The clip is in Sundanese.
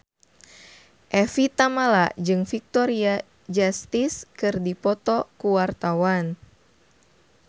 Evie Tamala jeung Victoria Justice keur dipoto ku wartawan